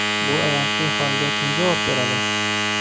Bu ayanchli holga kim javob beradi?